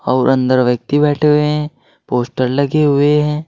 और अंदर व्यक्ति बैठे हुए हैं। पोस्टर लगे हुए हैं।